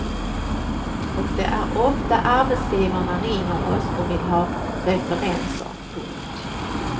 Och det är ofta arbetsgivare ringer oss och vill ha referenser. punkt